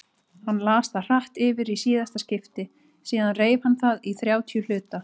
Hann las það hratt yfir í síðasta skipti, síðan reif hann það í þrjátíu hluta.